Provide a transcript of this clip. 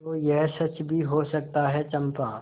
तो यह सच भी हो सकता है चंपा